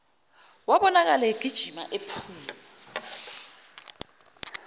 wabonakala egijima ephuma